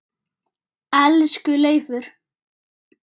Elsku Leifur.